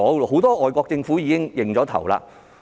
很多外國政府已願意承擔。